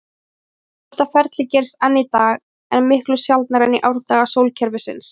Þetta ferli gerist enn í dag, en miklu sjaldnar en í árdaga sólkerfisins.